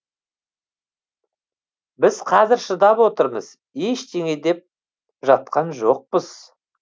біз қазір шыдап отырмыз ештеңе деп жатқан жоқпыз